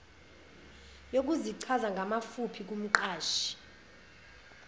yokuzichaza ngamafuphi kumqashi